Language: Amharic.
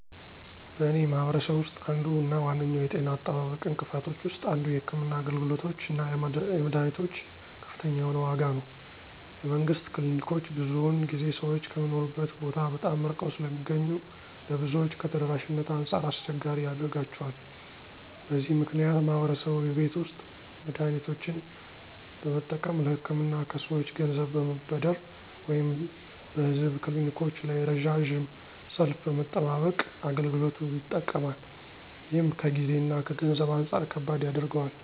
በእኔ ማህበረሰብ ውስጥ አንዱ እና ዋነኛው የጤና አጠባበቅ እንቅፋቶች ውስጥ አንዱ የሕክምና አገልግሎቶች እና የመድኃኒቶች ከፍተኛ የሆነ ዋጋ ነው። የመንግስት ክሊኒኮች ብዙውን ጊዜ ሰዎች ከሚኖሩበት ቦታ በጣም ርቀው ስለሚገኙ ለብዙዎች ከተደራሽነት አንጻር አስቸጋሪ ያደርጋቸዋል። በዚህ ምክንያት ማህበረሰቡ የቤት ውስጥ መድሃኒቶችን በመጠቀም፣ ለህክምና ከሰወች ገንዘብ በመበደር ወይም በህዝብ ክሊኒኮች ላይ ረዣዥም ሰልፍ በመጠባበቅ አገልግሎቱ ይጠቀማል። ይህም ከጊዜ እና ከገንዘብ አንጻር ከባድ ያደርገዋል።